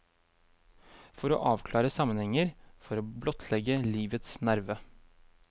For å avklare sammenhenger, for å blottlegge livets nerve.